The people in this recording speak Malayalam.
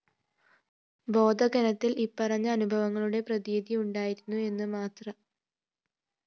ബോധഘനത്തില്‍ ഇപ്പറഞ്ഞ അനുഭവങ്ങളുടെ പ്രതീതിയുണ്ടായിരുന്നു എന്ന് മാത്രം